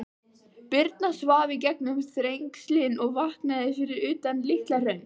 Birna svaf í gegnum Þrengslin og vaknaði fyrir utan Litla-Hraun.